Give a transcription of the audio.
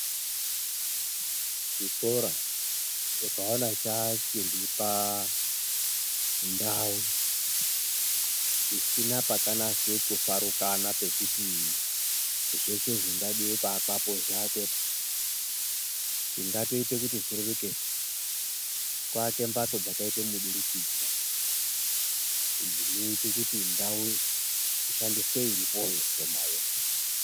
Chikora tinkaona chachizi pandau isina pakanase kufarukana pekuti zveshe zvingadiwe kuakapo zviakwe po chingatoite kuti zvireruke kuake mhatso dzakaite mudurukidzwa dzinoite kuti ndau ishandiswe irpoyo shomayo.